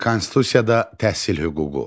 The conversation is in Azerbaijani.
Konstitusiyada təhsil hüququ.